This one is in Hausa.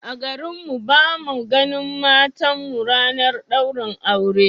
A garin mu ba mu a ganin matan mu ranar daurin aure